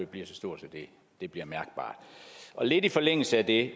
bliver så stort at det bliver mærkbart lidt i forlængelse af det